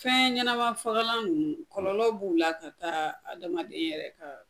Fɛɛn ɲɛnama fagalan ninnu kɔlɔlɔlɔ b'u la ka taa adamaden yɛrɛ ka